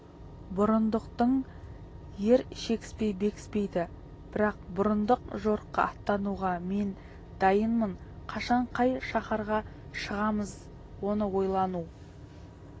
бұрындықтың ер шекіспей бекіспейді бірақ бұрындық жорыққа аттануға мен дайынмын қашан қай шаһарға шығамыз оны ойлану